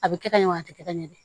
A bɛ kɛ ka ɲɛ a tɛ kɛ ɲɛ don